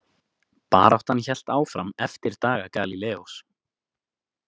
Baráttan hélt áfram eftir daga Galíleós.